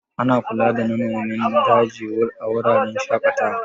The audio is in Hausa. Ana kula da nanomin daji a wuraren shaƙatawa.